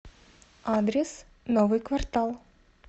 адрес новый квартал